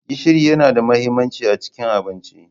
Gishiri yana da mahimmanci a cikin abinci.